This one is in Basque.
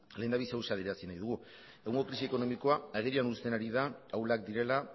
lehendabizi gauza bat adierazi nahi dugu egungo krisi ekonomikoa agerian uzten ari da ahulak direla